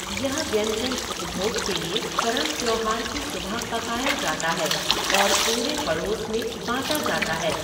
यह व्यंजन उपभोग के लिए करम त्यौहार की सुबह पकाया जाता है और पूरे पड़ोस में बाँटा जाता है।